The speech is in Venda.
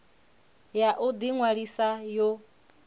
ya u ḓi ṅwalisa yo